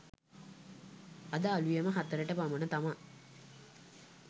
අද අලුයම හතරට පමණ තමා